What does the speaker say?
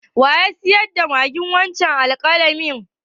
Wa ya saida ma ki wancen alƙalamin?